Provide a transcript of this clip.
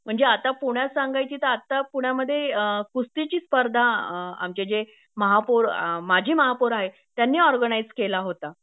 म्हणजे आता पुण्यात सांगायची तर आता पुण्यामध्ये कुस्तीची स्पर्धा आमचे जे महापौर माजी महापौर आहे त्यांनी ऑर्गनाइझ केला होता